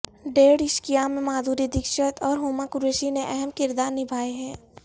ڈیڑھ عشقیہ میں مادھوری دیکشت اور ہما قریشی نے اہم کردار نبھائے ہیں